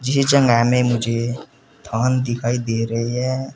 ये जगह में मुझे धान दिखाई दे रही है।